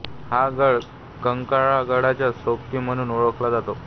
हा गड कंक्राळा गडाचा सोबती म्हणून ओळखला जातो